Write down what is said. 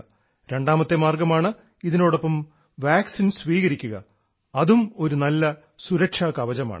രണ്ടാമത്തേ മാർഗ്ഗമാണ് ഇതിനോടൊപ്പം വാക്സിൻ സ്വീകരിക്കുക അതും ഒരു നല്ല സരക്ഷാ കവചമാണ്